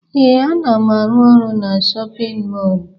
Ee, ana m arụ ọrụ na shọpịn mọọlụ.